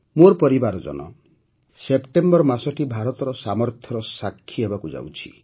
ମୋର ପରିବାରଜନ ସେପ୍ଟେମ୍ବର ମାସଟି ଭାରତର ସାମର୍ଥ୍ୟର ସାକ୍ଷୀ ହେବାକୁ ଯାଉଛି